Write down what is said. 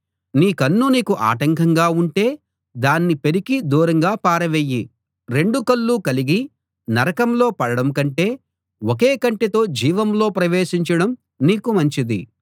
నీ కన్ను నీకు ఆటంకంగా ఉంటే దాన్ని పెరికి దూరంగా పారవెయ్యి రెండు కళ్ళు కలిగి నరకంలో పడడం కంటే ఒకే కంటితో జీవంలో ప్రవేశించడం నీకు మంచిది